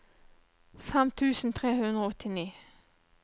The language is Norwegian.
fem tusen tre hundre og åttini